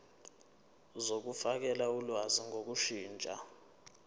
zokufakela ulwazi ngokushintsha